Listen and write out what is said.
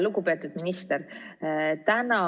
Lugupeetud minister!